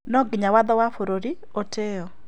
No nginya watho wa bũrũri ũtĩĩo